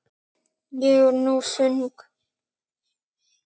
Ég er nú þung.